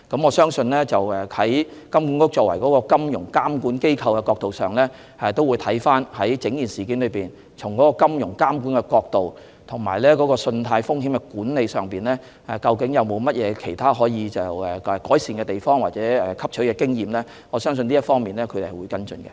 我相信，金管局作為金融監管機構會跟進並檢視整件事，從金融監管及信貸風險管理的角度，研究有否可予改善的地方或汲取的經驗。我相信這方面它會跟進。